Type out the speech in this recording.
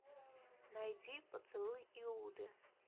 найди поцелуй иуды